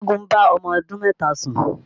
Ṣẹ́gun bá ọmọ ọdún mẹ́ta sùn